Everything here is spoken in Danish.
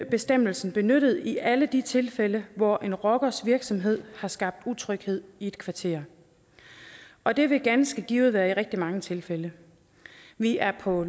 bestemmelsen benyttet i alle de tilfælde hvor en rockers virksomhed har skabt utryghed i et kvarter og det vil ganske givet være i rigtig mange tilfælde vi er på